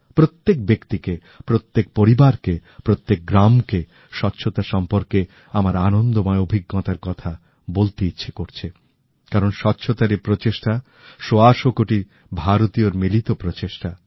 প্রত্যেক ব্যক্তিকে প্রত্যেক পরিবারকে প্রত্যেক গ্রামকে স্বচ্ছতা সম্পর্কে আমার আনন্দময় অভিজ্ঞতার কথা বলতে ইচ্ছে করছে কারণ স্বচ্ছতার এই প্রচেষ্টা সওয়াশো কোটি ভারতীয়র মিলিত প্রচেষ্টা